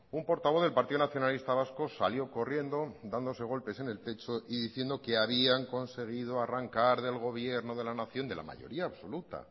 un portavoz del partido nacionalista vasco salió corriendo dándose golpes en el pecho y diciendo que habían conseguido arrancar del gobierno de la nación la mayoría absoluta